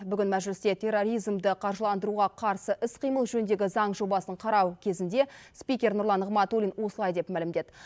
бүгін мәжілісте терроризмді қаржыландыруға қарсы іс қимыл жөніндегі заң жобасын қарау кезінде спикер нұрлан нығматулин осылай деп мәлімдеді